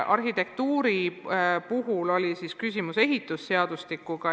Arhitekti puhul oli küsimus ehitusseadustikus.